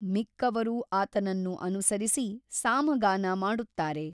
ಮಿಕ್ಕವರೂ ಆತನನ್ನು ಅನುಸರಿಸಿ ಸಾಮಗಾನ ಮಾಡುತ್ತಾರೆ.